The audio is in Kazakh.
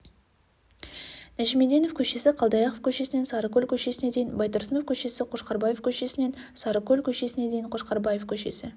нәжімеденов көшесі қалдаяқов көшесінен сарыкөл көшесіне дейін байтұрсынов көшесі қошқарбаев көшесінен сарыкөл көшесіне дейін қошқарбаев көшесі